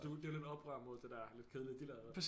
Det er lidt et oprør imod det der lidt kedelige de lavede